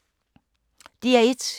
DR1